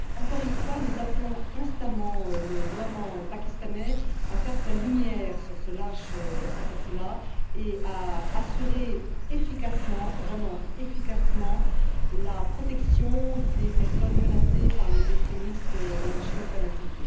Encore une fois, nous appelons instamment le gouvernement pakistanais à faire toute la lumière sur ce lâche assassinat et à assurer vraiment efficacement la protection des personnes menacées par les extrémistes religieux fanatiques.